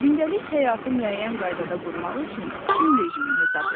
Gündəlik həyatı müəyyən qaydada qurmaq üçün gün rejimi hesab olunur.